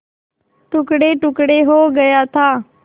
टुकड़ेटुकड़े हो गया था